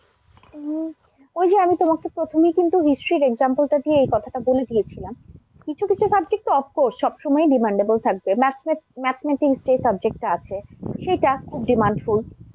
উম ঐ যে আমি তোমাকে প্রথমেই কিন্তু history example টা দিয়ে এই কথাটা বলে দিয়েছিলাম। কিছু কিছু subject তো of course সবসময়ই demandable থাকবে। math~mathematics যে subject টা আছে, সেটা খুব demandfull